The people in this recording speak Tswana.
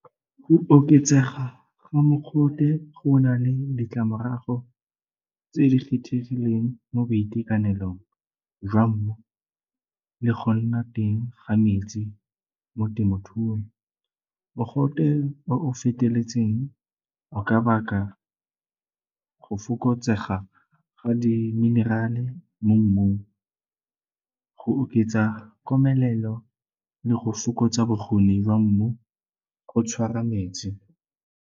Go oketsega ga mogote go na le ditlamorago tse di kgethegileng mo boitekanelong jwa mmu le go nna teng ga metsi mo temothuong. Mogote o o feteletseng o ka baka go fokotsega ga di minerale mo mmung. Go oketsa komelelo le go fokotsa bokgoni jwa mmu go tshwara metsi.